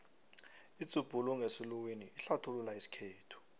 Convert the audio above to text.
idzubhula ngesiluwini ihlathulula isikhethu